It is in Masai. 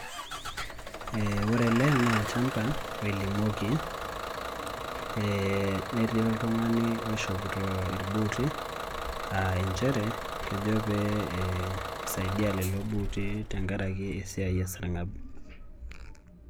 Ore ele no olchamba, oilimoki. Netii oltung'ani oishopito irbuuti, ah injere, kejo pee isaidia lelo buuti tenkaraki esiai esarng'ab.